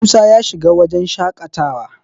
Musa ya shiga wajen shaƙatawa